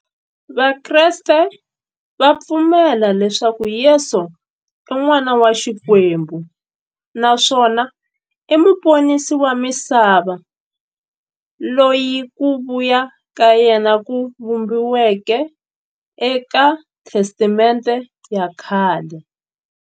Vakreste va pfumela leswaku Yesu i n'wana wa Xikwembu naswona i muponisi wa misava, loyi ku vuya ka yena ku vhumbiweke e ka Testamente ya khale.